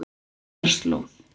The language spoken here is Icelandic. Eyjarslóð